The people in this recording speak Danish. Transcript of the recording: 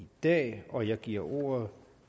dag og jeg giver ordet